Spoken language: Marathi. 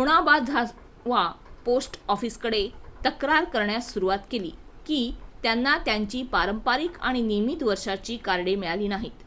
ओबाणाझावा पोस्ट ऑफिसकडे तक्रार करण्यास सुरूवात केली की त्यांना त्यांची पारंपारिक आणि नियमित नवीन वर्षाची कार्डे मिळाली नाहीत